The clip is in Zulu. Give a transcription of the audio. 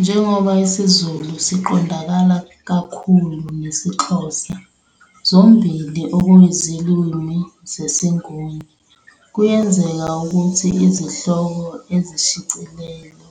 Njengoba isiZulu siqondakala kakhulu nesiXhosa, zombili okuyizilimi zesiNguni, kuyenzeka ukuthi izihloko ezikushicilelo